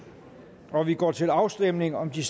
og vi går til afstemning om de